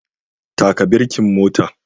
Taka birkin motan